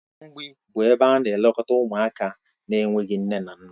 Ụlọ mgbịị bụ ebe na-elekọta ụmụaka na-enweghị nne na nna